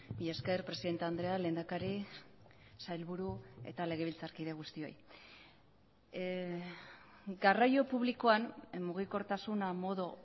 mila esker presidente andrea lehendakari sailburu eta legebiltzarkide guztioi garraio publikoan mugikortasuna modu